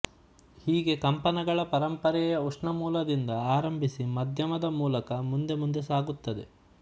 ಹೀಗೆ ಕಂಪನಗಳ ಪರಂಪರಯೆ ಉಷ್ಣ ಮೂಲದಿಂದ ಆರಂಭಿಸಿ ಮಾಧ್ಯಮದ ಮೂಲಕ ಮುಂದೆ ಮುಂದೆ ಸಾಗುತ್ತದೆ